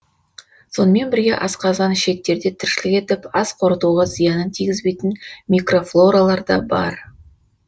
сонымен бірге асқазан ішектерде тіршілік етіп ас қорытуға зиянын тигізбейтін мкрофлоралар да бар